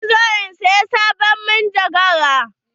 Za ni zo in saya sabon manjagara.